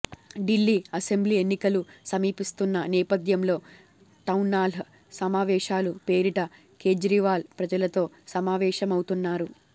Delhi assembly ఎన్నికలు సమీపిస్తున్న నేపథ్యంలో టౌన్హాల్ సమావేశాల పేరిట కేజ్రీవాల్ ప్రజలతో సమావేశమవుతున్నారు